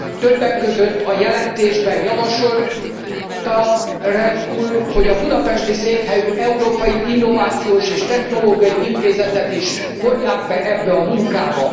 Többek között a jelentésben javasolta Reul úr, hogy a budapesti székhelyű Európai Innovációs és Technológiai Intézetet is vonják be ebbe a munkába.